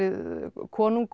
konungur